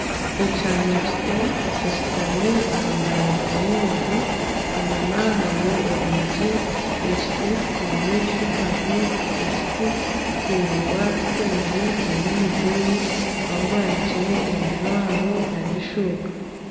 Omwana muto akashutami aha mbaraza y'enju, enyima hariyo orwigi rw'ekiti omu maisho hariho ekiti kiraingwa kitemire nana omugoye ahu baanire ebijwaro nana eshuuka